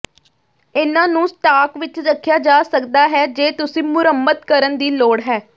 ਇਹਨਾਂ ਨੂੰ ਸਟਾਕ ਵਿਚ ਰੱਖਿਆ ਜਾ ਸਕਦਾ ਹੈ ਜੇ ਤੁਸੀਂ ਮੁਰੰਮਤ ਕਰਨ ਦੀ ਲੋੜ ਹੈ